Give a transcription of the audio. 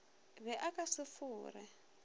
be a ka se fore